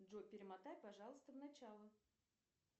джой перемотай пожалуйста в начало